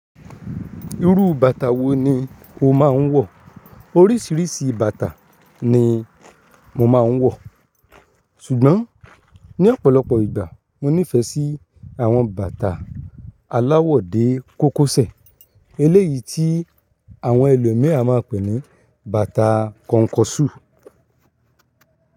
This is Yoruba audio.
Irú bàtà wo ni o máa ń wọ̀? Orísìírísìí bàtà ni mo máa ń wọ̀, ṣùgbọ́n ní ọ̀pọ̀lọpọ̀ ìgbà mo nífẹ̀ẹ́ sí àwọn bàtà aláwọ̀ dé kókọsẹ̀ eléyìí tí àwọn ẹlòmííràn máa ń pè ní bàtà kọnkọṣú̀.